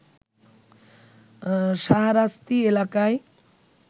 শাহরাস্তি এলাকায়